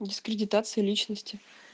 дискредитация личности